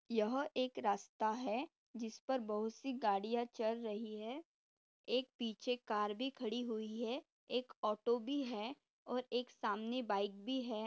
यह एक रास्ता है। जिसपर बहुत सी गड़िया चल रही है। एक पीछे कार भी खड़ी हुई है। एक ऑटो भी है और एक सामने बाइक भी है।